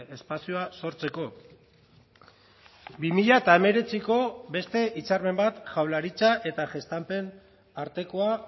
espazioa sortzeko bi mila hemeretziko beste hitzarmen bat jaurlaritza eta gestampen artekoa